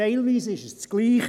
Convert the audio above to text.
teilweise ist es dasselbe.